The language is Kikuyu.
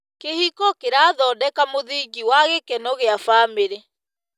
Kĩhiko kĩrathondeka mũthingi wa gĩkeno gĩa bamĩrĩ.